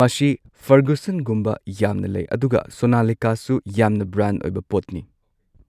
ꯃꯁꯤ ꯐꯔꯒꯨꯁꯟꯒꯨꯝꯕ ꯌꯥꯝꯅ ꯂꯩ ꯑꯗꯨꯒ ꯁꯣꯅꯥꯂꯤꯀꯥꯁꯨ ꯌꯥꯝꯅ ꯕ꯭ꯔꯥꯟ ꯑꯣꯏꯕ ꯄꯣꯠꯅꯤ꯫